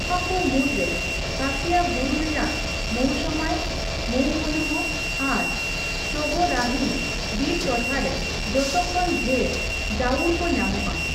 ᱱᱚᱣᱟ ᱠᱚ ᱢᱩᱫᱽᱨᱮ ᱠᱷᱟᱹᱥᱤᱭᱟᱹ ᱵᱩᱨᱩ ᱨᱮᱭᱟᱜ ᱢᱳᱣᱥᱚᱢᱟᱭ, ᱢᱳᱣᱢᱚᱞᱩᱦ ᱟᱨ ᱥᱳᱦᱚᱨᱟᱨᱤᱢ ᱵᱤᱨ ᱴᱚᱴᱷᱟ ᱨᱮ ᱡᱚᱛᱚ ᱠᱷᱚᱱ ᱰᱷᱮᱨ ᱡᱟᱹᱣᱩᱲ ᱠᱚ ᱧᱟᱢᱚᱜᱼᱟ ᱾